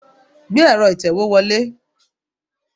Gbé ero itewe wọlé.